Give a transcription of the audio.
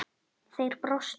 Þeir brostu.